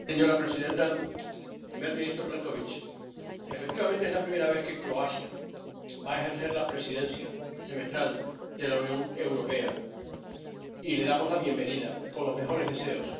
Señora presidenta, primer ministro Plenković, efectivamente, es la primera vez que Croacia va a ejercer la Presidencia semestral de la Unión Europea, y le damos la bienvenida con los mejores deseos.